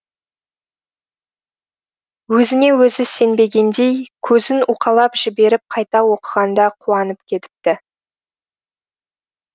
өзіне өзі сенбегендей көзін уқалап жіберіп қайта оқығанда қуанып кетіпті